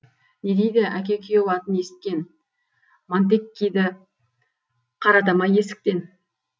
не дейді әке күйеу атын есіткен монтеккиді қарата ма есіктен